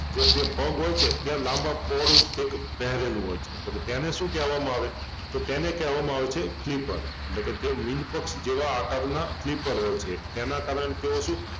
જે તે પગ હોય છે ત્યાં લાંબા પોહળુ કઈક પહરેલું હોય તોકે તેને શું કેહવામાં આવે તો તેને કેહવામાં આવે છે ફ્રિપર અટલેકે તે મીનપક્ષ જેવા આકારનાં ફ્રિપર હોય છે એના કારણે તેઓ શું